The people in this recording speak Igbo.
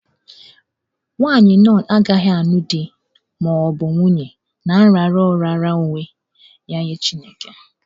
Nwaanyị nọn agaghị alụ di ma ọ bụ nwunye ná nrara ọ raara onwe ya nye Chineke.